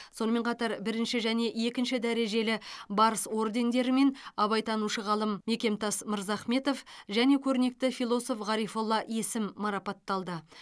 сонымен қатар бірінші және екінші дәрежелі барыс ордендерімен абайтанушы ғалым мекемтас мырзахметов және көрнекті философ ғарифолла есім марапатталды